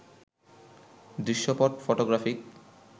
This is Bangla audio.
দৃশ্যপট ফটোগ্রাফিক